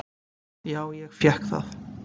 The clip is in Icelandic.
Já ég fékk það.